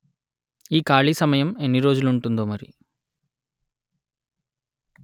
ఈ ఖాళీ సమయం ఎన్ని రోజులు ఉంటుందో మరి